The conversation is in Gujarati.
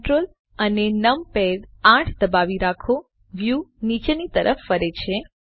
Ctrl અને નંપાડ 8 દબાવી રાખો વ્યુ નીચેની તરફ ફરે છે